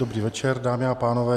Dobrý večer, dámy a pánové.